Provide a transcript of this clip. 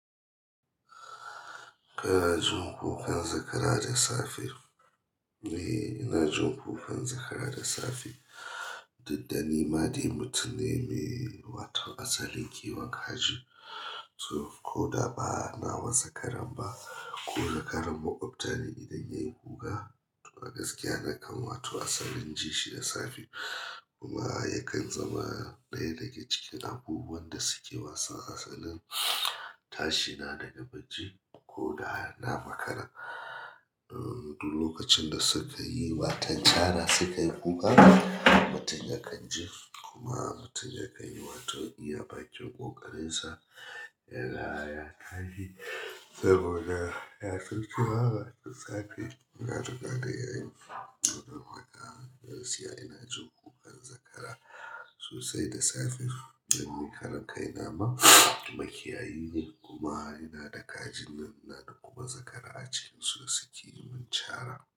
Kana jin kukan zakara da safe? Eh ina jin kukan zakara da safe. Duk dani ma dai mutum ne me waton asalin kiwon kaji. To, ko da ba na wa zakara ba, ko zakaran maƙwabta ne idan ya yi kuka, a gaskiya na kan wata asalin ji shi da safe. Kuma yakan zama ɗaya daga cikin abubuwan da suke wasan asalin. Tashi na daga bacci ko da na makara. Don, duk lokacin da suka yi watan cara, suka yi kuka. Mutum ya kan ji kuma mutum ya kan yi wato iya bakin ƙokarin sa da ya tashi. Saboda ya tuntuwa da safe. Ina riƙa da yayi. To, don haka a gaskiya ina jin kukan zakara sosai da safe. Dan ni karan kaina ma makiyayi ne kuma ina da kajin nan ina da kuma zakara a cikinsu da suke yi min cara.